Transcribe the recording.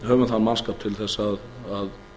höfum þann mannskap til að